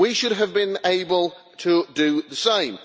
We should have been able to do the same.